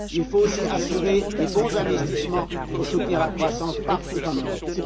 Il faut aussi assurer de bons investissements pour soutenir la croissance partout en Europe.